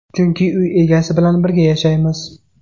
Chunki uy egasi bilan birga yashaymiz.